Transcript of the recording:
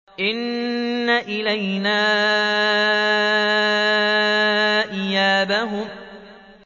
إِنَّ إِلَيْنَا إِيَابَهُمْ